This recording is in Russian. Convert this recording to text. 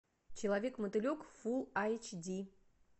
человек мотылек фул эйч ди